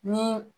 Ni